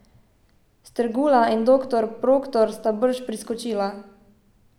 Strgula in doktor Proktor sta brž priskočila.